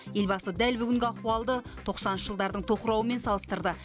елбасы дәл бүгінгі ахуалды тоқсаныншы жылдардың тоқырауымен салыстырды